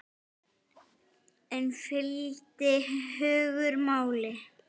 En fylgdi hugur máli?